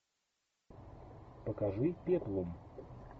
покажи пеплум